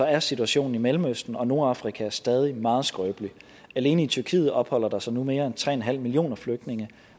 er situationen i mellemøsten og nordafrika stadig meget skrøbelig alene i tyrkiet opholder der sig nu mere end tre millioner flygtninge